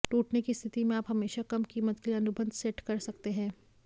टूटने की स्थिति में आप हमेशा कम कीमत के लिए अनुबंध सेट कर सकते हैं